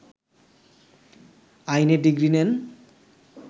আইনে ডিগ্রি নেন